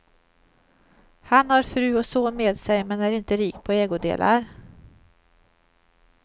Han har fru och son med sig men är inte rik på ägodelar.